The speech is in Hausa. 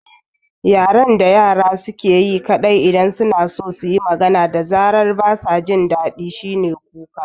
Yaren da yara suke yi kaɗai idan suna so suyi magana da zaran basa jin daɗi shine kuka